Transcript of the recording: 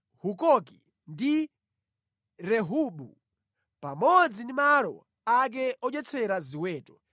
Hukoki ndi Rehobu, pamodzi ndi malo ake odyetsera ziweto;